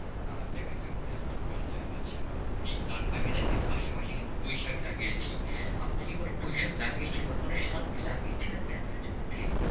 আর দেখা যাক তাহলে কি করা যায়। আচ্ছা আপনি আমি দেখেন পাশাপাশি কিন্তু পুঁইশাক লাগিয়েছি, আপনি কি কোন পুঁইশাক লাগিয়েছেন বা কোন শাক কি লাগিয়েছেন আপনি আপনার জমিতে?